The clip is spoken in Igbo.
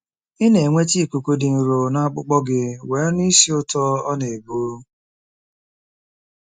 Ị na-enweta ikuku dị nro na akpụkpọ gị wee nụ ísì ụtọ ọ na-ebu.